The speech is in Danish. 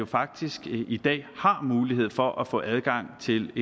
faktisk i dag har mulighed for at få adgang til